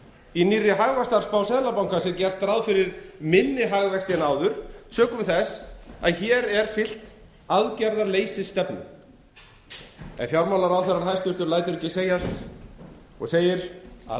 í nýrri hagvaxtarspá seðlabankans er gert ráð fyrir minni hagvexti en áður sökum þess að hér er fylgt aðgerðaleysisstefnu en hæstvirtur fjármálaráðherra lætur sér ekki segjast og segir að